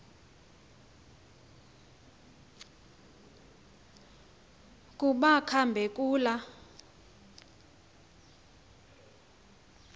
kuba kambe kula